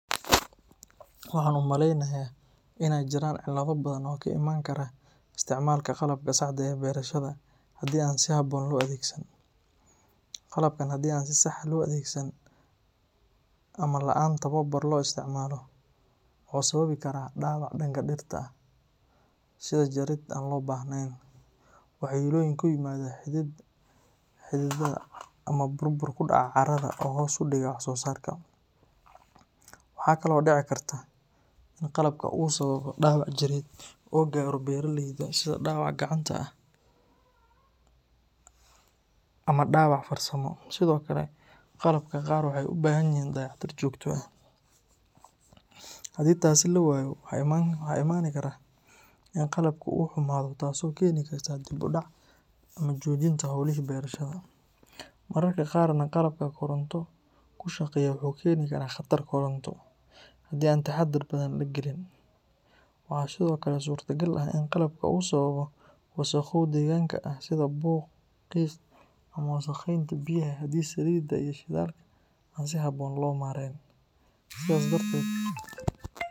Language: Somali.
Waxaan u maleynayaa in ay jiraan cilado badan oo ka imaan kara isticmaalka qalabka saxda ee beerashada haddii aan si habboon loo adeegsan. Qalabkan haddii aan si sax ah loo adeegsan ama la’aan tababar loo isticmaalo, wuxuu sababi karaa dhaawac dhanka dhirta ah sida jarid aan loo baahnayn, waxyeellooyin ku yimaada xididada ama burbur ku dhaca carrada oo hoos u dhiga wax-soosaarka. Waxaa kale oo dhici karta in qalabka uu sababo dhaawac jireed oo gaaro beeraleyda sida dhaawac gacanta ah ama dhaawac farsamo. Sidoo kale, qalabka qaar waxay u baahan yihiin dayactir joogto ah, haddii taasi la waayo waxaa iman kara in qalabkii uu xumaado taasoo keeni karta dib u dhac ama joojinta howlihii beerashada. Mararka qaarna qalabka koronto ku shaqeeya wuxuu keeni karaa khatar koronto, haddii aan taxaddar badan la gelin. Waxaa sidoo kale suurtagal ah in qalabka uu sababo wasakhow deegaanka ah sida buuq, qiiq, ama wasakheynta biyaha haddii saliidaha iyo shidaalka aan si habboon loo maareyn. Sidaas darteed.